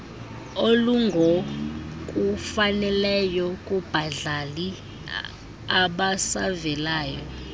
olungokufaneleyo kubadlali abasavelayo